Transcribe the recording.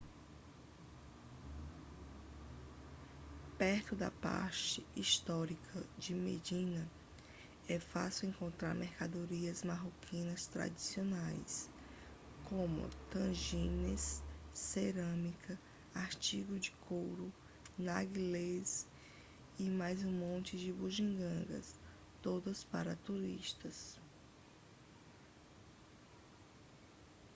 perto da parte histórica de medina é fácil encontrar mercadorias marroquinas tradicionais como tagines cerâmica artigos de couro narguilés e mais um monte de bugigangas todas para turistas